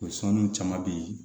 O sɔnniw caman be ye